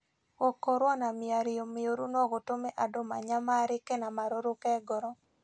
Gũkorũo na mĩario mĩũru no gũtũme andũ manyamarĩke na marũrũke ngoro.